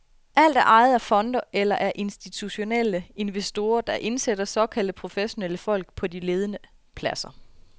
Alt er ejet af fonde eller af institutionelle investorer, der indsætter såkaldte professionelle folk på de ledende pladser.